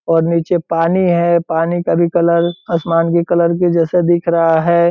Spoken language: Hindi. और नीचे पानी है पानी का भी कलर असमान के कलर के जैसे दिख रहा है।